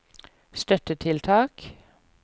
støttetiltak